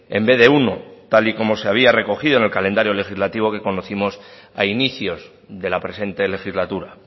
en vez de uno tal y como se había recogido en el calendario legislativo que conocimos a inicios de la presente legislatura